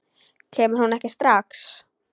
Kemur hún ekki strax?